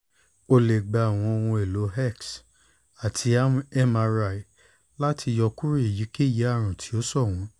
o le gba awọn ohun-elo x ati mri lati yọkuro eyikeyi arun ti o ṣọwọn